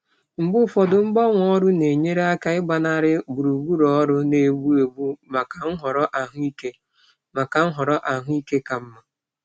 Mgbe ụfọdụ mgbanwe ọrụ na-enyere aka ịgbanarị gburugburu ọrụ na-egbu egbu maka nhọrọ ahụike maka nhọrọ ahụike ka mma.